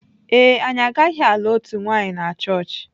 Ee e, anyị agaghị alụ otu nwanyị na chọọchị.